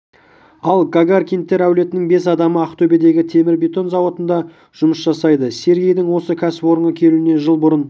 ал гагаркиндер әулетінің бес адамы ақтөбедегі темірбетон зауытында жұмыс жасайды сергейдің осы кәсіпорынға келуіне жыл бұрын